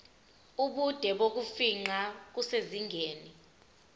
ubude bokufingqa kusezingeni